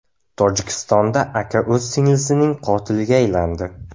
Tojikistonda aka o‘z singlisining qotiliga aylandi .